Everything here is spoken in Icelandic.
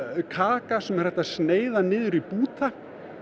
kaka sem er hægt að sneiða niður í búta